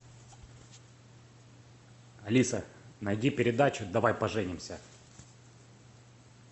алиса найди передачу давай поженимся